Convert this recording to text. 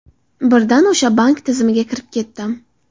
Birdan o‘sha bank tizimiga kirib ketdim.